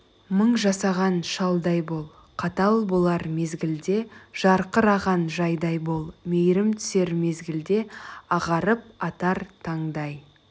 мың жасаған шалдай бол қатал болар мезгілде жарқыраған жайдай бол мейірім түсер мезгілде ағарып атар таңдай